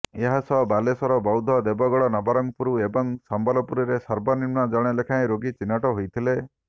ଏହାସହ ବାଲେଶ୍ୱର ବୌଦ୍ଧ ଦେଓଗଡ଼ ନବରଙ୍ଗପୁର ଏବଂ ସମ୍ବଲପୁରରେ ସର୍ବନିମ୍ନ ଜଣେ ଲେଖାଁଏ ରୋଗୀ ଚିହ୍ନଟ ହୋଇଥିଲେ